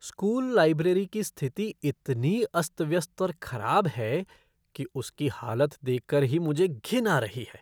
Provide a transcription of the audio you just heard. School library की स्थिति इतनी अस्त व्यस्त और खराब है कि उसकी हालत देख कर ही मुझे घिन आ रही है।